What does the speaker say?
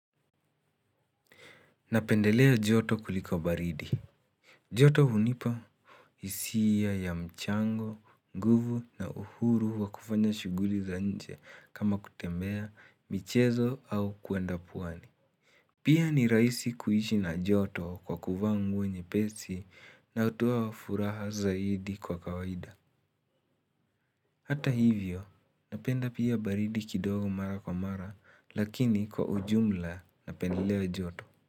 Napendelea joto kuliko baridi. Joto hunipa hisia ya mchango, nguvu na uhuru wa kufanya shughuli za nje kama kutembea michezo au kwenda pwani. Pia ni rahisi kuishi na joto kwa kuvaa nguo nyepesi natoa furaha zaidi kwa kawaida. Hata hivyo napenda pia baridi kidogo mara kwa mara lakini kwa ujumla napendelea joto.